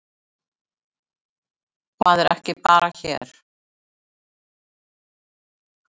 Það er ekki bara hér.